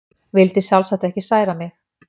Vildi sjálfsagt ekki særa mig.